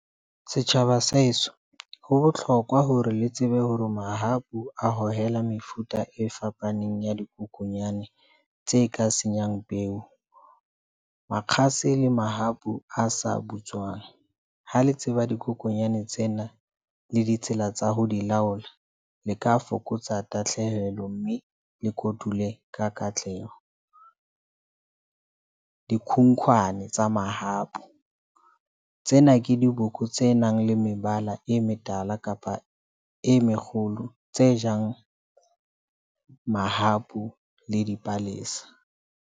Setjhaba sa heso, ho bohlokwa hore le tsebe hore mahapu a hohela mefuta e fapaneng ya dikokonyana tse ka senyang peo, makgase le mahapu a sa butswang. Ha le tseba dikokonyane tsena le ditsela tsa ho di laola le ka fokotsa tahlehelo mme le kotule ka katleho di khunkhwane tsa mahapu. Tsena ke diboko tse nang le mebala e metala kapa e mekgolo tse jang mahapu le dipalesa.